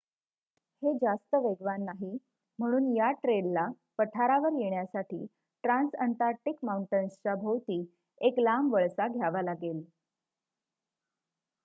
हे जास्त वेगवान नाही म्हणून या ट्रेलला पठारावर येण्यासाठी ट्रान्सअंटार्क्टिक माऊंटन्सच्या भोवती एक लांब वळसा घ्यावा लागेल